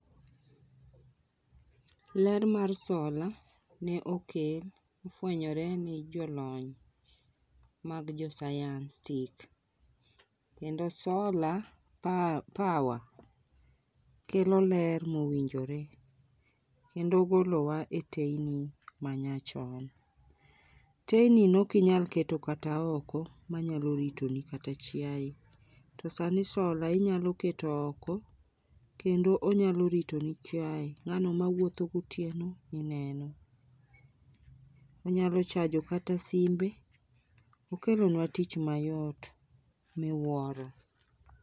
Lr mar solar ne okel ofwenyore ni jolony mag jo sayans tik, kendo solar power kelo ler mowinjore kendo golowa e teyni manyachon. Teyni ne ok inyal keto kata oko manyalo ritoni kata chiaye. To sani solar inyalo keto oko kendo inyalo ritoni chiaye, ngano mawuotho gotieno ineno, onyalo chajo kata simbe. Okelonwa tich mayot miwuoro